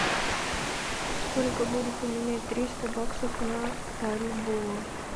сколько будет поменять триста баксов на бальбоа